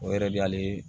O yɛrɛ de y'ale